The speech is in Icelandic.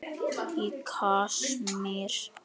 Í Kasmír,